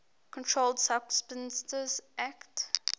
controlled substances acte